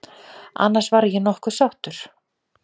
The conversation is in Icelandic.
Annars var ég nokkuð sáttur.